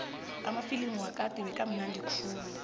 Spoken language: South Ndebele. amafilimu wakade bekamnandi khulu